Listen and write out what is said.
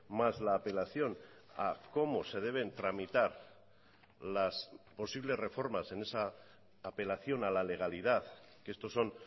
mas la apelación a cómo se deben tramitar las posibles reformas en esa apelación a la legalidad que estos son